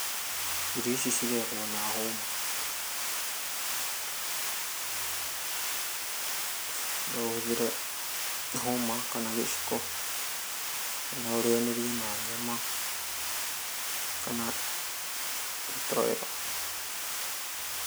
irio ici irĩagwo na hũma, no ũhũthĩre hũma kana gĩciko , no ĩrĩanĩrie na nyama kana gĩtoero